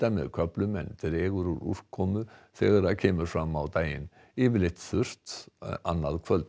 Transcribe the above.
með köflum en dregur úr úrkomu þegar kemur fram á daginn yfirleitt þurrt annað kvöld